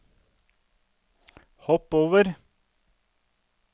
hopp over